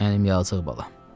Mənim yazıq balam.